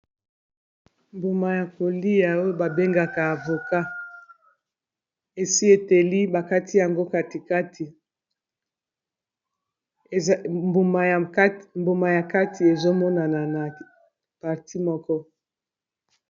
Mbuma ya koliya oyo ba bengaka avocat esi eteli bakati yango katikati mbuma ya kati ezomonana na parti moko.